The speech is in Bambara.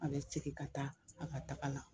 An be segin ka taa a ka taga la